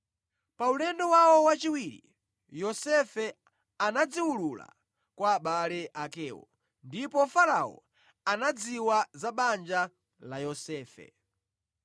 Pa ulendo wawo wachiwiri, Yosefe anadziwulula kwa abale akewo ndipo Farao anadziwa za banja la Yosefe.